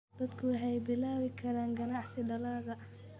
Dadku waxay bilaabi karaan ganacsi dalagga.